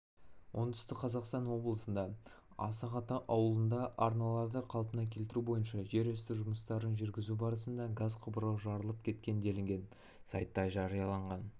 оңтүстік қазақстан облысында асық-ата ауылында арналарды қалпына келтіру бойынша жер үсті жұмыстарын жүргізу барысында газ құбыры жарылып кеткен делінген сайтта жарияланған